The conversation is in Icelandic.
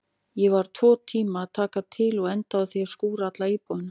Ég var tvo tíma að taka til og endaði á því að skúra alla íbúðina.